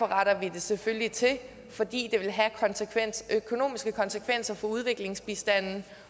retter det selvfølgelig til fordi det vil have økonomiske konsekvenser for udviklingsbistanden